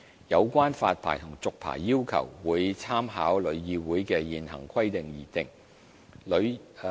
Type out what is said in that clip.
有關發牌和續牌的要求，會參考旅議會的現行規定而訂。